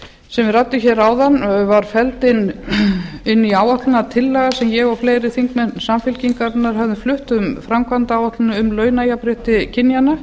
sem við ræddum áðan var felld inn í áætlunartillaga sem ég og fleiri þingmenn samfylkingarinnar höfðum flutt um framkvæmdaáætlun um launajafnrétti kynjanna